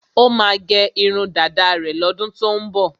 Ó máa gẹ irun dáda rẹ̀ lọ́dún tó ń bọ̀.